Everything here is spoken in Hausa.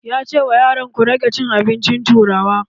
Ya ce wa yaran 'Ku rage cin abincin turawa'!